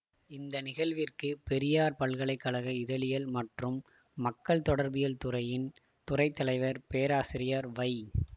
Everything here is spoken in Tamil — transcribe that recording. இந்த நிகழ்விற்கு பெரியார் பல்கலை கழக இதழியல் மற்றும் மக்கள் தொடர்பியல் துறையின் துறை தலைவர் பேராசிரியர் வை